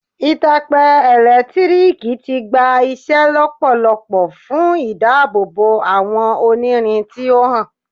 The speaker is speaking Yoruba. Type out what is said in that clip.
Itape elekitiriki ti gba iṣẹ lọpọlọpọ fun idabobo awọn onirin ti o han